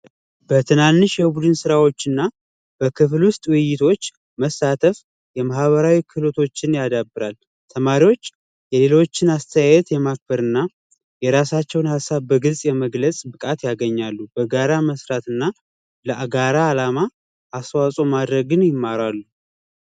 በትናንሽ ውይይቶች እና በክፍል ውስጥ መሳተፍ የማህበራዊ ክሎቶችን ያዳብራል። ተማሪዎች የሌሎችን አስተያየት የማክበርና የራሳቸውን ሐሳብ በግልፅ የመግለጽ ብቃት ያገኛሉ። በጋራ መስራትና ለአጋራ አላማ አስተዋኦ ማድረግን ይማራሉ።